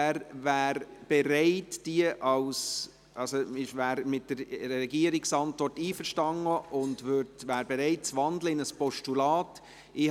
Er ist mit der Antwort des Regierungsrates einverstanden einverstanden und ist bereit, in ein Postulat zu wandeln.